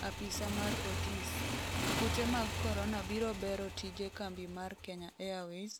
apisa mar Otis:Kute mag Korona biro bero tije kambi mar Kenya Airways